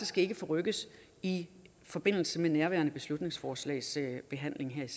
skal forrykkes i forbindelse med nærværende beslutningsforslags behandling her